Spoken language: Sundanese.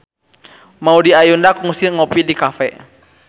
Maudy Ayunda kungsi ngopi di cafe